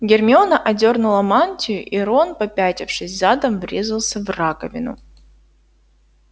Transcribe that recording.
гермиона сдёрнула мантию и рон попятившись задом врезался в раковину